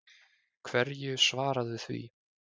Hverju svaraðu því?